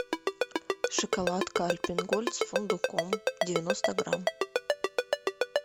шоколадка альпен гольд с фундуком девяносто грамм